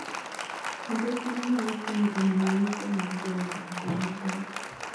Puodho cham nyalo konyo e miyo yuto mar joot obed maber